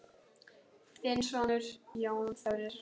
Þinn sonur, Jón Þórir.